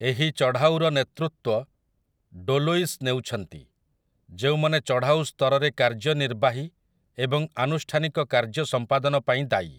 ଏହି ଚଢ଼ାଉର ନେତୃତ୍ୱ ଡୋଲୋଇସ୍ ନେଉଛନ୍ତି, ଯେଉଁମାନେ ଚଢ଼ାଉ ସ୍ତରରେ କାର୍ଯ୍ୟନିର୍ବାହୀ ଏବଂ ଆନୁଷ୍ଠାନିକ କାର୍ଯ୍ୟ ସମ୍ପାଦନ ପାଇଁ ଦାୟୀ ।